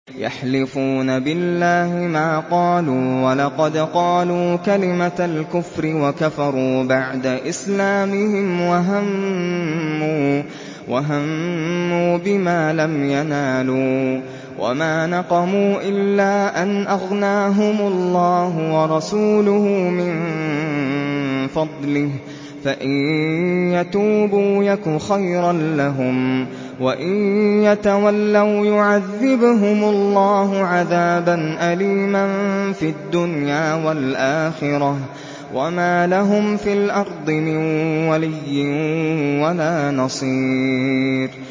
يَحْلِفُونَ بِاللَّهِ مَا قَالُوا وَلَقَدْ قَالُوا كَلِمَةَ الْكُفْرِ وَكَفَرُوا بَعْدَ إِسْلَامِهِمْ وَهَمُّوا بِمَا لَمْ يَنَالُوا ۚ وَمَا نَقَمُوا إِلَّا أَنْ أَغْنَاهُمُ اللَّهُ وَرَسُولُهُ مِن فَضْلِهِ ۚ فَإِن يَتُوبُوا يَكُ خَيْرًا لَّهُمْ ۖ وَإِن يَتَوَلَّوْا يُعَذِّبْهُمُ اللَّهُ عَذَابًا أَلِيمًا فِي الدُّنْيَا وَالْآخِرَةِ ۚ وَمَا لَهُمْ فِي الْأَرْضِ مِن وَلِيٍّ وَلَا نَصِيرٍ